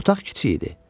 Otaq kiçik idi.